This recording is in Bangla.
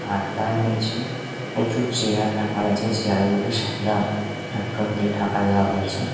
আর তার নীচে প্রচুর চেয়ার রাখা হয়েছে চেয়ার গুলি সাদা অ্যাপ্রোন দিয়ে ঢাকা দেওয়া হয়েছে।